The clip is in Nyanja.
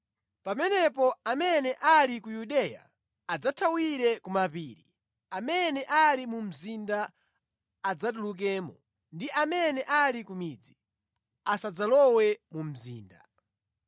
Pamenepo amene ali ku Yudeya adzathawire ku mapiri, amene ali mu mzinda adzatulukemo, ndi amene ali ku midzi asadzalowe mu mzinda.